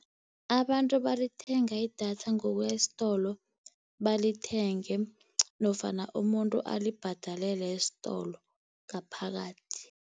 Abantu balithenga idatha ngokuya esitolo balithenge, nofana umuntu alibhadalele esitolo ngaphakathi.